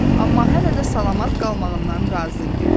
Amma hələ də salamat qalmağından razı idi.